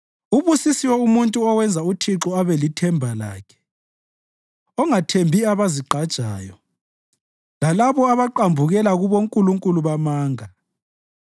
Ubusisiwe umuntu owenza uThixo abe lithemba lakhe, ongathembi abazigqajayo, lalabo abaqambukela kubonkulunkulu bamanga.